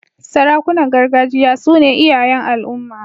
Sarakunan gargajiya su ne iyayen al'umma.